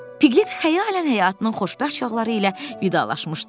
Pqlet xəyalən həyatının xoşbəxt çağları ilə vidalaşmışdı.